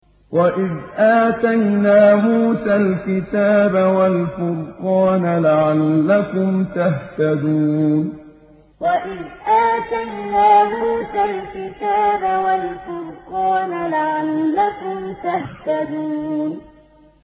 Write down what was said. وَإِذْ آتَيْنَا مُوسَى الْكِتَابَ وَالْفُرْقَانَ لَعَلَّكُمْ تَهْتَدُونَ وَإِذْ آتَيْنَا مُوسَى الْكِتَابَ وَالْفُرْقَانَ لَعَلَّكُمْ تَهْتَدُونَ